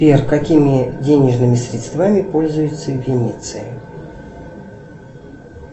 сбер какими денежными средствами пользуются в венеции